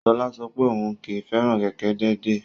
Sola sọ pé òun kì í fẹ́ràn kẹ̀kẹ́ déédéé.